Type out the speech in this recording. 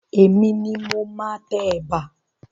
Èmi ni mo máa tẹ ẹ̀bà.